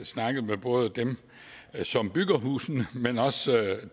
snakket med både dem som bygger husene men også